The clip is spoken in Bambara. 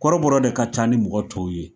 Kɔrɔbɔrɔ de ka ca ni mɔgɔ tɔw ye.